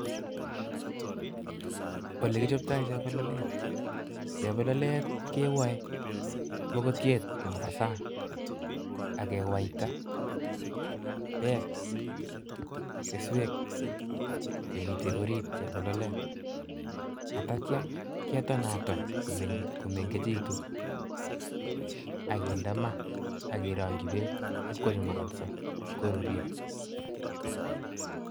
Olekichoptoi chebololet, chebololet kewai mokotiet nombo sang akewaita beek keswek chemiten oriit chebololet, atakia ketonaton komeng'echekitu ak kinde maa ak kerong'yi beek iib kochumukonso koruryo.